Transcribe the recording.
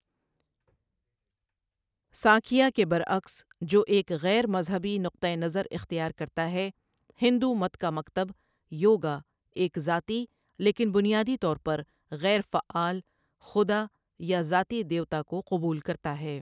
سانکھیہ کے برعکس جو ایک غیر مذہبی نقطہ نظر اختیار کرتا ہے، ہندو مت کا مکتب یوگا ایک 'ذاتی، لیکن بنیادی طور پر غیر فعال، خدا' یا 'ذاتی دیوتا' کو قبول کرتا ہے۔